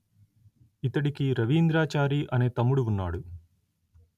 ఇతడికి రవీంద్రాచారి అనే తమ్ముడు ఉన్నాడు